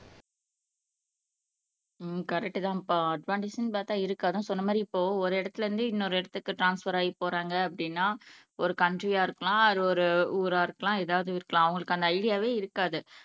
உம் கரெக்ட்தான்ப்பா அட்வான்டேஜ்ன்னு பார்த்தா இருக்கு அதான் சொன்ன மாரி இப்போ ஒரு இடத்திலே இருந்து இன்னொரு இடத்துக்கு ட்ரான்ஸ்பர் ஆகி போறாங்க அப்படின்னா ஒரு கண்ட்ரியா இருக்கலாம் அது ஒரு ஊரா இருக்கலாம் ஏதாவது இருக்கலாம் அவங்களுக்கு அந்த ஐடியாவே இருக்காது